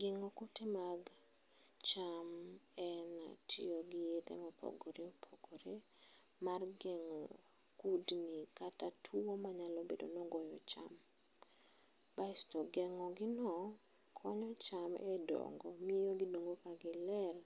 Gengo kute mag cham en tiyo gi yedhe ma opogore opogore mar gengo kudni kata tuo manyalo bedo ni ogoyo cham, basto gengo gi no konyo cham e dongo miyo gidongo ka giler